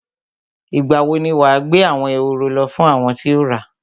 Ìgbà wo ni wà á gbé àwọn ehoro lọ fún àwọn tí o ra?